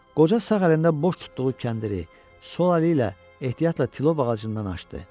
Qoca sağ əlində boş tutduğu kəndiri sol əli ilə ehtiyatla tilov ağacından açdı.